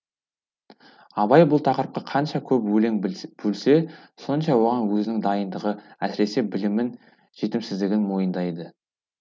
абай бұл тақырыпқа қанша көп көңіл бөлсе сонша оған өзінің дайындығы әсіресе білімнің жетімсіздігін мойындайды